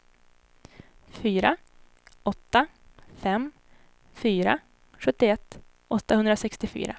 fyra åtta fem fyra sjuttioett åttahundrasextiofyra